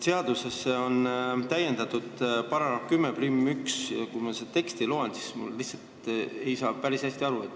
Seaduse § 101 on täiendatud ühe lausega, aga kui ma seda teksti loen, siis ma ei saa sellest päris hästi aru.